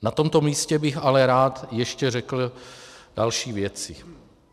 Na tomto místě bych ale rád ještě řekl další věci.